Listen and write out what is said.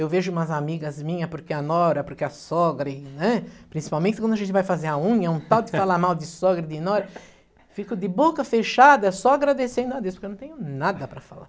Eu vejo umas amigas minhas, porque a nora, porque a sogra, e e né, principalmente quando a gente vai fazer a unha, um tal de falar mal de sogra e de nora, fico de boca fechada só agradecendo a Deus, porque eu não tenho nada para falar.